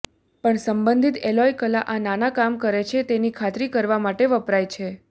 પણ સંબંધિત એલોય કલા આ નાના કામ કરે છે તેની ખાતરી કરવા માટે વપરાય છે